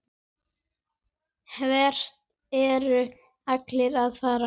Hvert eru allir að fara?